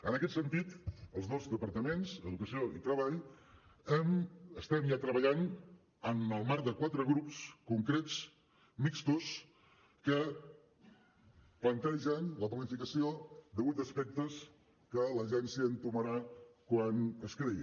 en aquest sentit els dos departaments educació i treball estem ja treballant en el marc de quatre grups concrets mixtos que plantegen la planificació de vuit aspectes que l’agència entomarà quan es creï